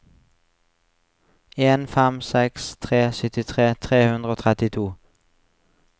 en fem seks tre syttitre tre hundre og trettito